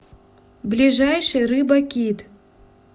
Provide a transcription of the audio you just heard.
ближайший рыба кит